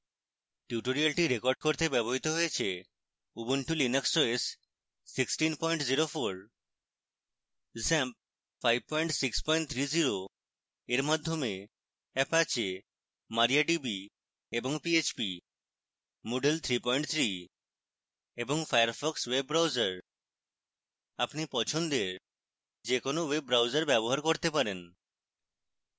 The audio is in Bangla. tutorial রেকর্ড করতে ব্যবহৃত হয়েছে: